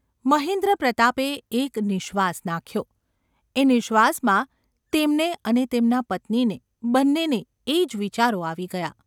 મહેન્દ્રપ્રતાપે એક નિઃશ્વાસ નાખ્યો. એ નિ:શ્વાસમાં તેમને અને તેમનાં પત્નીને-બંનેને–એ જ વિચારો આવી ગયા.